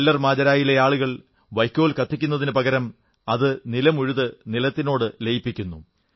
Keller മാജരായിലെ ആളുകൾ വൈയ്ക്കോൽ കത്തിക്കുന്നതിനു പകരം അത് നിലമുഴുത് നിലത്തിനോടു ലയിപ്പിക്കുന്നു